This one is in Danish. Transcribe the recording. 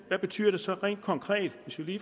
hvad betyder det så rent konkret